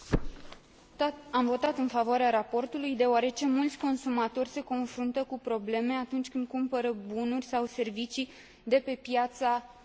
Am votat în favoarea raportului, deoarece mulți consumatori se confruntă cu probleme atunci când cumpără bunuri sau servicii de pe piața unică.